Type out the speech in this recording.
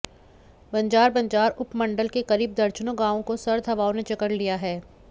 बंजार बंजार उपमंडल के करीब दर्जनों गांवों को सर्द हवाओं ने जकड़ लिया है